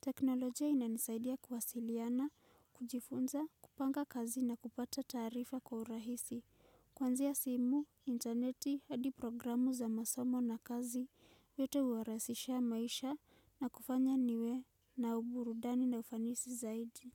Teknolojia inanisaidia kuwasiliana, kujifunza, kupanga kazi na kupata taarifa kwa urahisi. Kuanzia simu, intaneti, hadi programu za masomo na kazi, vyote huwarahisishia maisha na kufanya niwe na uburudani na ufanisi zaidi.